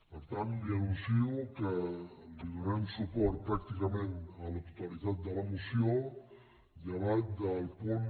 per tant li anuncio que li donarem suport pràctica·ment a la totalitat de la moció llevat del punt